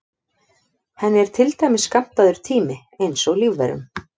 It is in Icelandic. Henni er til dæmis skammtaður tími eins og lífverum.